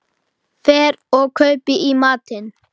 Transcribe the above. Fer og kaupi í matinn.